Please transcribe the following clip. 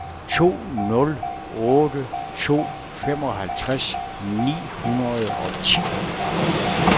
to nul otte to femoghalvtreds ni hundrede og ti